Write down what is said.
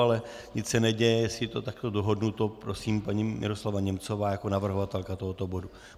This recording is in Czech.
Ale nic se neděje, jestli je to takto dohodnuto, prosím, paní Miroslava Němcová jako navrhovatelka tohoto bodu.